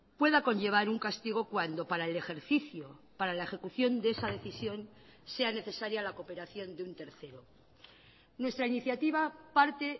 pueda conllevar un castigo cuando para el ejercicio para la ejecución de esa decisión sea necesaria la cooperación de un tercero nuestra iniciativa parte